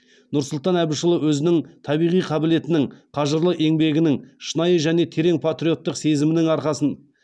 нұрсұлтан әбішұлы өзінің табиғи қабілетінің қажырлы еңбегінің шынайы және терең патриоттық сезімінің арқасын